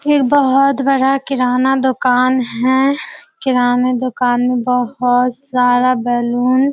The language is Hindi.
एक बहुत बड़ा किराना दुकान है | किराना दुकान मे बहुत सारा बैलून --